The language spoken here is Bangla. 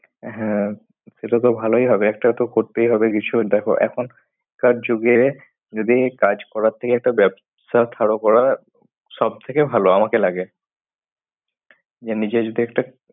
হ্যাঁ এটা তো ভালই হবে একটা তো করতেই হবে কিছু দেখ এখনকার যুগে যদি কাজ করার থেকে একটা ব্যবসায় করার সব থেকে ভাল আমাকে লাগে যে নিজে যদি একটা